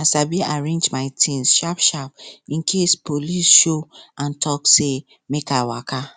i sabi arrange my things sharpsharp in case police show and talk say make i waka